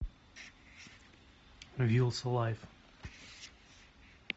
вилса лайф